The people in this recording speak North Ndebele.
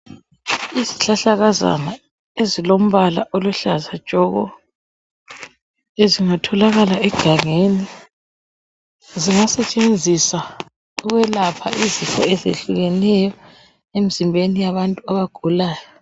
Izihlahlakazana ezilombala oluhlaza tshoko ezingatholakala egangeni zingasetshenziswa ukwelapha izifo ezehlukeneyo emzimbeni yabantu abagulayo